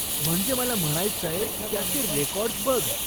म्हणजे मला म्हणायचंय, त्याचे रेकाॅर्डस् बघ.